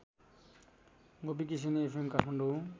Gopikrishna FM Kathmandu